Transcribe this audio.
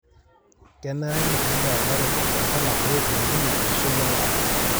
Kenare nitumia lairemok olchala pee eilepunye eishoi endaa.